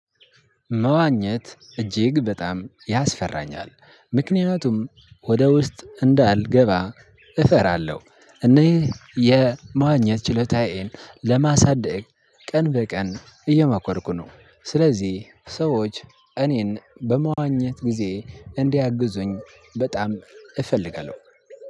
መዋኘት እጅግ በጣም ያስፈራኛል። ምክንያቱም ወደ ውስጥ እንዳልገባ እፈራለሁ። እኔ የመዋኘት ችሎታዬን ለማሳደግ ቀን በቀን እየሞከርኩ ነው። ስለዚህ ሰዎች እኔን በመዋኘት ጊዜ እንድያግዙኝ በጣም እፈልጋለሁ።